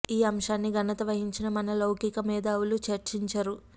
ఈ అంశాన్ని ఘనత వహించిన మన లౌకిక మేధావులు చర్చిం చరు